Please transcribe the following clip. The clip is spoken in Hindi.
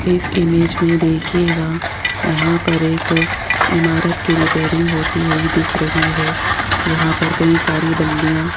इस इमेज में देखिएगा यहां पर एक इमारत की रिपेयरिंग होती हुई दिख रही है जहां पर कई सारी बल्लियां --